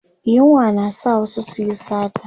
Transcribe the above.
yunwa na sa wasu su Yi sata